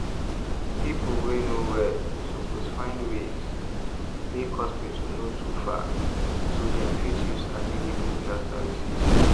people wey no well suppose find ways make hospital no too far so dem fit use available health services.